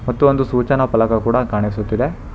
ಮತ್ತು ಒಂದು ಸೂಚನಾ ಫಲಕ ಕೂಡ ಕಾಣಿಸುತ್ತಿದೆ.